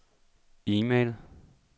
e-mail